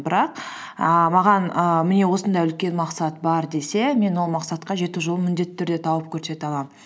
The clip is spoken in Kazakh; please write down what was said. ііі маған ііі міне осындай үлкен мақсат бар десе мен ол мақсатқа жету жолын міндетті түрде тауып көрсете аламын